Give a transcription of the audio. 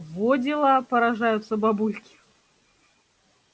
во дела поражаются бабульки